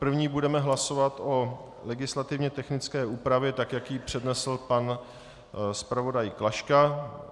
První budeme hlasovat o legislativně technické úpravě tak, jak ji přednesl pan zpravodaj Klaška.